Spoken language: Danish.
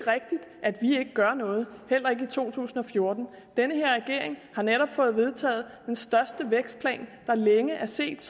gør noget heller ikke to tusind og fjorten den her regering har netop fået vedtaget den største vækstplan der længe er set